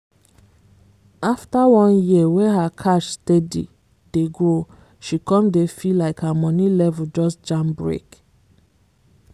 after one year wey her cash steady dey grow she come dey feel like her money level just jam brake.